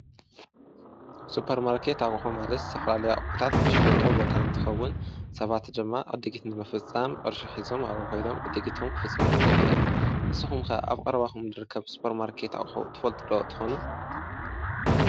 ሱፐርማርኬት ኣቑሑ ማለት ዝተፈላለዩ ኣቑሑታት ዝሽዎጦ ቦታ እንትኸውን ሰባት ድማ ዕድጊት ንምፍፃም ቅርሺ ሒዞም ኣብኡ ከይዶም ዕድጊቶም ክፍፅሙ ይክእሉ እዮም። ንስኹም ከ ኣብ ቀረባኹም ዝርከብ ሱፐርማርኬት ኣቑሑ ትፈልጡ ዶ ትኾኑ?